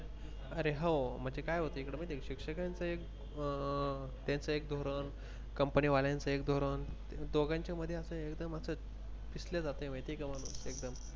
अरे हो म्हणजे काय होत इकडे माहित आहे का म्हणजे शिक्षकांच अं त्यांचं एक धोरण कंपनी वाल्यांच एक धोरण दोघांच्या मध्ये अस एकदम अस पिसल्या जातंय माहिती आहे का माणूस?